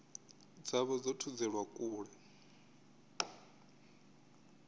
dza vha dzo thudzelwa kule